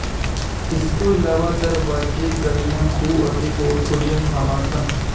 ਇਸ ਤੋਂ ਇਲਾਵਾ ਦਰਵਾਜ਼ੇ ਗਲੀਆਂ ਖੂਹ ਅਤੇ ਹੋਰ ਖੁੱਲ੍ਹੀਆਂ ਥਾਂਵਾਂ ਸਨ